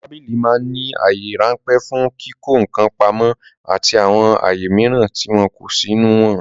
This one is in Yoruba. Tábìlì ma ń ní àyè ráńpẹ̀ fún kíkọ́ ǹkan pamó àti àwọn àyè mìíràn tí wọ́n kọ́ sínú wọn